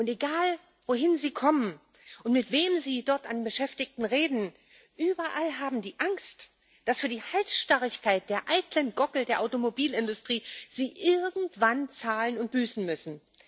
Egal, wohin Sie kommen und mit wem Sie dort an Beschäftigten reden, überall haben die Angst, dass sie für die Halsstarrigkeit der eitlen Gockel der Automobilindustrie irgendwann zahlen und büßen müssen.